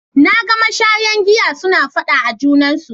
Na ga mashaya giya suna faɗa a junansu.